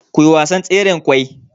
kuyi wasan tseren kwai